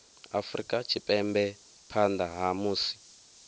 afrika tshipembe phanḓa ha musi